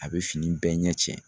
A bɛ fini bɛɛ ɲɛ cɛn.